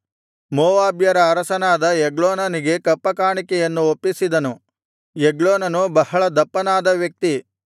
ಮೋವಾಬ್ಯರ ಅರಸನಾದ ಎಗ್ಲೋನನಿಗೆ ಕಪ್ಪ ಕಾಣಿಕೆಯನ್ನು ಒಪ್ಪಿಸಿದನು ಎಗ್ಲೋನನು ಬಹಳ ದಪ್ಪನಾದ ವ್ಯಕ್ತಿ